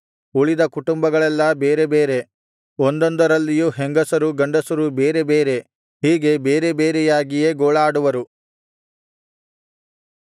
ಉಳಿದ ಕುಟುಂಬಗಳೆಲ್ಲಾ ಬೇರೆ ಬೇರೆ ಒಂದೊಂದರಲ್ಲಿಯೂ ಹೆಂಗಸರು ಗಂಡಸರು ಬೇರೆ ಬೇರೆ ಹೀಗೆ ಬೇರೆ ಬೇರೆಯಾಗಿಯೇ ಗೋಳಾಡುವರು